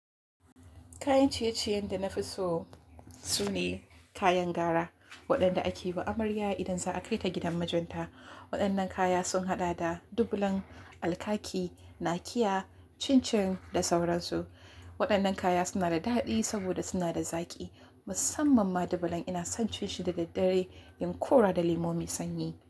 Kayan ciye-ciyen da na fi so sune kayan gara, waɗanda ake yi wa amarya idan za a kai ta gidan mijinta. Waɗannan kaya sun haɗa da dubulan, alkaki, nakiya, cin-cin da sauransu. Waɗannan kaya suna da daɗi saboda suna da zaƙi. Musamman ma dubulan ina son cin shi da daddare yin ƙora da lemu mai sanyi.